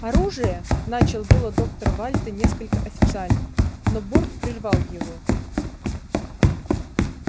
оружие начал было доктор вальто несколько официально но борт прервал его